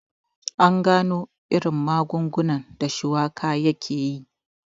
An gano irin magungunan da shuwaka yakeyi